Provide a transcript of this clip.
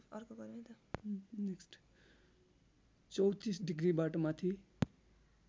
३४ डिग्रीबाट माथि